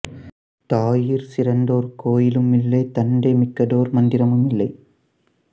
தாயிற் சிறந்ததொரு கோயிலும் இல்லை தந்தை மிக்கதொரு மந்திரமும் இல்லை